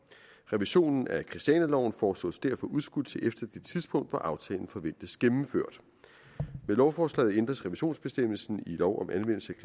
revisionen af christianialoven foreslås derfor udskudt til efter det tidspunkt hvor aftalen forventes gennemført med lovforslaget ændres revisionsbestemmelsen i lov om anvendelse